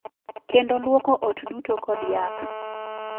Kendo lwoko ot duto kod yath.